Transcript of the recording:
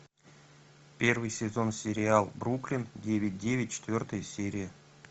первый сезон сериал бруклин девять девять четвертая серия